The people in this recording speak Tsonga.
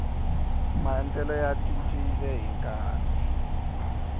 maendlelo ya cincile ni nkarhi